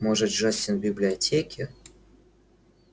может джастин в библиотеке